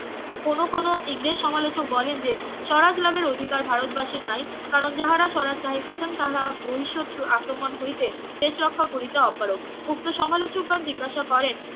কোনো কোনো ইংরেজ সমালোচক বলেন যে স্বরাজ লাভের অধিকার ভারত বাসীর নাই কারণ যাহারা স্বরাজ চাহিতেছেন তাহারা বহিঃশত্রু আক্রমণ হইতে দেশ রক্ষা করিতে অপারগ উক্ত সমালোচক গণ জিজ্ঞাসা করেন